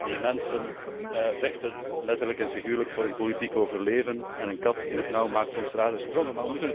Die mensen vechten immers letterlijk en figuurlijk voor hun politiek overleven en een kat in het nauw maakt soms rare sprongen.